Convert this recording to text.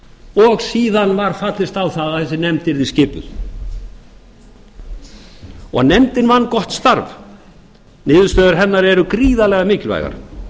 landinu síðan var fallist á að þessi nefnd yrði skipuð nefndin vann gott starf niðurstöður hennar eru gríðarlega mikilvægar